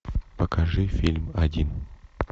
покажи фильм один